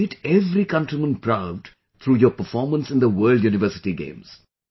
You have made every countryman proud through your performance in the World University Games